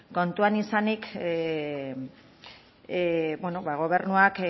kontuan izanik ba gobernuak